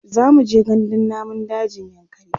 zamuje gandun namun dajin yankari